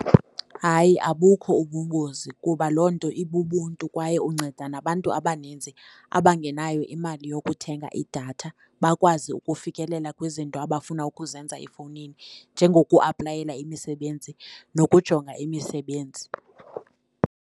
Hayi, abukho ubungozi kuba loo nto ibubuntu kwaye unceda nabantu abaninzi abangenayo imali yokuthenga idatha bakwazi ukufikelela kwizinto abafuna ukuzenza efowunini, njengokwaplayela imisebenzi nokujonga imisebenzi.